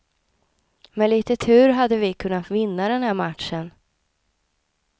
Med lite tur hade vi kunnat vinna den här matchen.